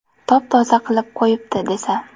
Top-toza qilib qo‘yibdi, desa.